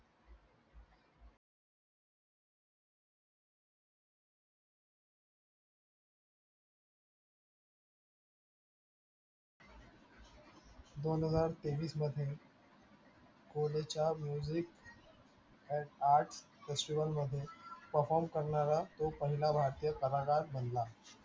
दोनहजार तेवीस मध्ये पुढच्या music at art festival मध्ये perform करणारा तो पहिला वाचक कलाकार बनला.